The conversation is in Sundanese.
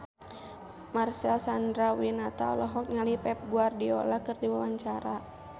Marcel Chandrawinata olohok ningali Pep Guardiola keur diwawancara